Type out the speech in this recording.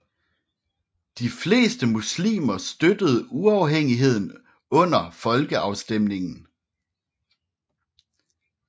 De fleste muslimer støttede uafhængigheden under folkeafstemningen